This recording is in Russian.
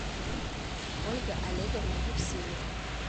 ольга олеговна евсеева